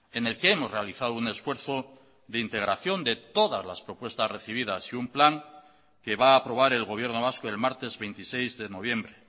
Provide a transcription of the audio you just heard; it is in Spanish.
en el que hemos realizado un esfuerzo de integración de todas las propuestas recibidas y un plan que va a aprobar el gobierno vasco el martes veintiséis de noviembre